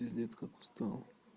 пиздец как устал